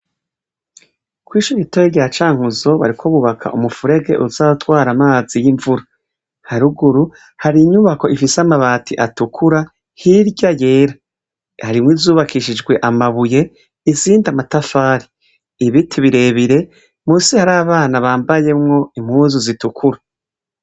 Kw'isha igitoye gya cankuzo bariko bubaka umufurege uzatwara amazi y'imvura haruguru hari inyubako ifise amabati atukura hirya yera harimwo izubakishijwe amabuye isindi amatafari ibiti birebire musi hari abana bambayemwo impuzu zitukura.